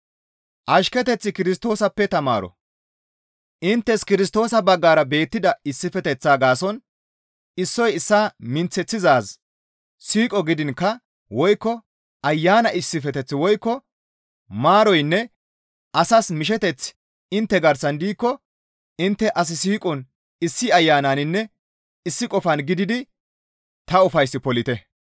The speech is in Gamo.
Inttes Kirstoosa baggara beettida issifeteththaa gaason issoy issaa minththeththizaaz siiqo gidiinkka woykko Ayana issifeteth woykko maaroynne asas misheteththi intte garsan diikko intte as siiqon issi Ayananinne issi qofan gididi ta ufays polite.